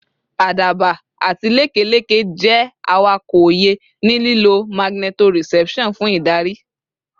Àdàbà àti lekeleke jẹ́ awakọ̀ òye, ní lílo magnetoreception fún ìdarí